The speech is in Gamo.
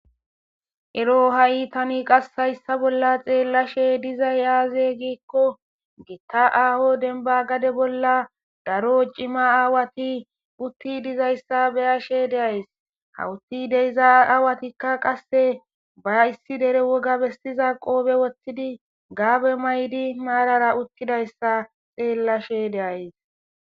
ero ha7i tani qase hayssa bolla xeellashshe dizay aaze giikko gitta aaho denba gade bolla daro ciima aawati uttidi dizayssa beyassshe deays hawuti deyza aawatikka qasse ba issi dere woga bestiza qoobe wottidi gabe maydi mararra uttidayssa xeellashe de'as